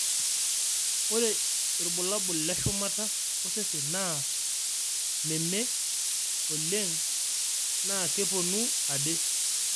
ore irbulabul le shumata osesen naa nememee oleng na keponu ade